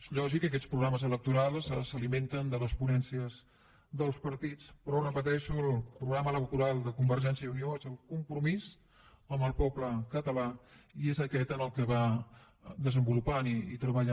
és lògic que aquests programes electorals s’alimentin de les ponències dels partits però ho repeteixo el programa electoral de convergència i unió és el compromís amb el poble català i és aquest el que va desenvolupant i treballant